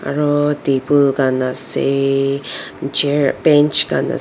aru table khan ase chair bench khan ase.